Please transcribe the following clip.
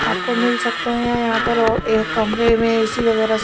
आपको मिल सकते हैं यहां पर एक कमरे में ए_सी वगैरह--